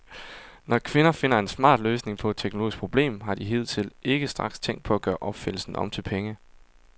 Når kvinder finder en smart løsning på et teknologisk problem, har de hidtil ikke straks tænkt på at gøre opfindelsen om til penge.